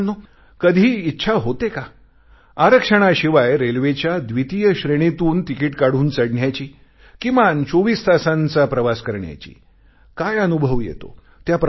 काय मित्रांनो कधी इच्छा होते का आरक्षणाशिवाय रेल्वेच्या द्वितीय श्रेणीतून तिकीट काढून चढण्याची किमान 24 तासांचा प्रवास करण्याची काय अनुभव येतो